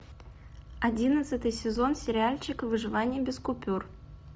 одиннадцатый сезон сериальчик выживание без купюр